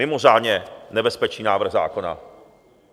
Mimořádně nebezpečný návrh zákona.